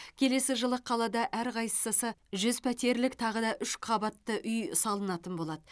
келесі жылы қалада әрқайсысы жүз пәтерлік тағы да үш көпқабатты үй салынатын болады